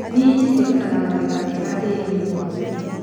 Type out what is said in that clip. Minji cirutaga magetha mega tĩrinĩ mũhũthũ.